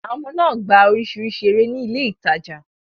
Àwọn ọmọ náà gbá oríṣiríṣi eré ní ilé ìtajà.